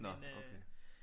Nå okay